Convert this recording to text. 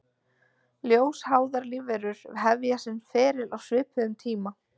Ljósháðar lífverur hefja sinn feril á svipuðum tíma.